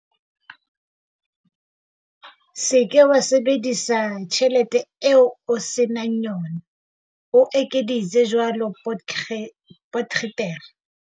Se ke wa sebedisa tjhelete eo o se nang yona, o ekeditse jwalo Potgieter.